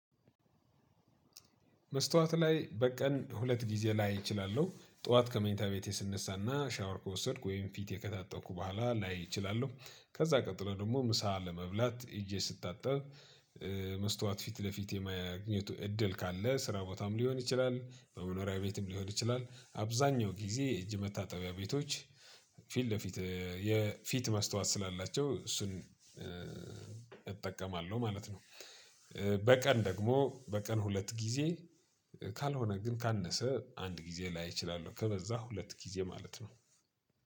መስታወት ላይ በቀን ሁለት ጊዜ ላይ እችላለሁ ጠዋት ከመኝታ ቤቴ ስነሳና ሻወር ከወሰድኩ ወይም ፊት የከታጠብኩ በኋላ ላይ እችላለሁ ከዛ ቀጥሎ ደግሞ ምሳ ለመብላት እጄ ስታጠብ መስታወት ፊት ለፊት የማግኘቱ እድል ካለ ስራ ቦታም ሊሆን ይችላል መኖሪያ ቤትም ሊሆን ይችላል አብዛኛው ጊዜ እጅ መታጠቢያ ቤቶች ፊት ለፊት የፊት ማስታወት ስላላቸው እሱን እጠቀማለሁ ማለት ነው። በቀን ደግሞ በቀን ሁለት ጊዜ ካልሆነ ግን ካነሰ አንድ ጊዜ ላይ እችላለው ከበዛ ሁለት ጊዜ ማለት ነው።